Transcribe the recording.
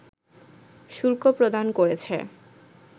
শুল্ক প্রদান করেছে